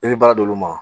I bɛ baara d'olu ma